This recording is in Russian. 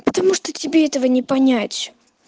потому что тебе этого не понять